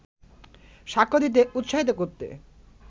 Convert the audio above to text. সাক্ষ্য দিতে উৎসাহিত করতে